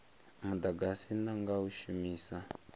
mudagasi na nga u shumisa